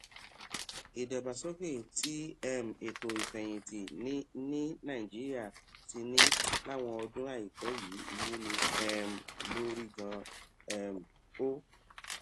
ìdàgbàsókè tí um ètò ìfèyìntì ní ní nàìjíríà ti ní láwọn ọdún àìpẹ yìí wúni um lórí ganan um ó